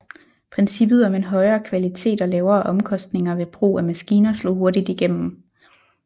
Princippet om en højere kvalitet og lavere omkostninger ved brug af maskiner slog hurtigt igennem